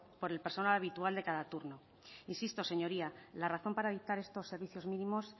por el personal habitual de cada turno insisto señoría la razón para dictar estos servicios mínimos